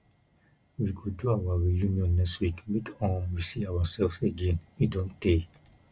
we go do our reunion next week make um we see ourselves again e do tey